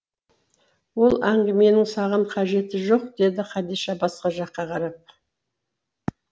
ол әңгіменің саған қажеті жоқ деді хадиша басқа жаққа қарап